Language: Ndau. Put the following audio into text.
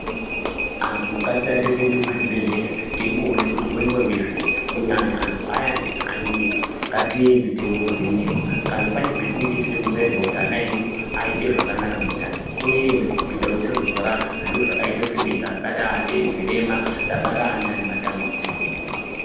Antu ngatidarire kuenda kuzvibhedhleya teimboona kuti kunoitwa ngezvei kunyanya antu ayani ane mimba ngatiende tiiovhenekwa. Kana pane patinenge teida kubairwa kuti ana edu aite zvakanaka mundani toenda. Kuitira kuti tisazozvara zviro zvakaita senge kabare zvirema tabare ana ane matambudziko.